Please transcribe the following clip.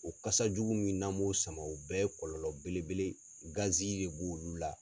O kasa jugu min n'an m'o sama o bɛɛ ye kɔlɔlɔ bele bele de b'olu la.